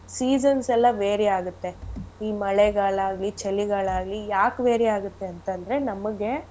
Seasons ಎಲ್ಲಾ vary ಆಗುತ್ತೆ ಈ ಮಳೆಗಾಲ ಆಗ್ಲಿ ಚಳಿಗಾಲ ಆಗ್ಲಿ ಯಾಕ್ vary ಆಗತ್ತೆ ಅಂತ ಅಂದ್ರೆ ನಮ್ಗೆ.